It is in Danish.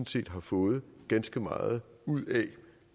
set har fået ganske meget ud af